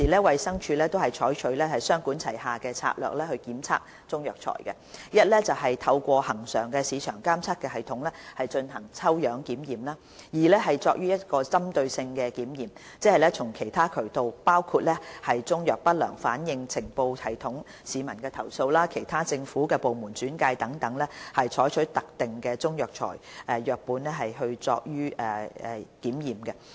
衞生署現時採取雙管齊下的策略檢測中藥材，一是透過恆常市場監測系統進行抽樣檢驗；二是進行針對性檢驗，即從其他渠道，包括中藥不良反應呈報系統、市民投訴、其他政府部門轉介等取得特定的中藥材樣本進行檢驗。